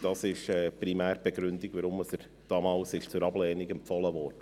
Das ist primär die Begründung dafür, dass er damals zur Ablehnung empfohlen wurde.